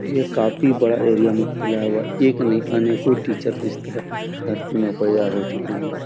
यह काफी बड़ा एरिया में फैला हुआ है एक नहीं अनेकों टीचर इस तरह धरती में उपाया हो चुके हैं ।